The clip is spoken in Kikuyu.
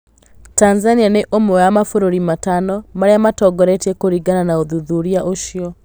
Tanzania nĩ ũmwe wa mabũrũri matano marĩa matongoretie kũringana na ũthuthuria ũcio.